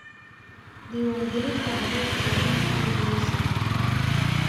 Diiwaangelinta carruurta waa in horay loo sii qabtaa.